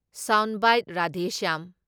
Sound bite Radheshyam.